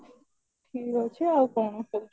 ଠିକ ଅଛି ଆଉ କଣ କହୁଚୁ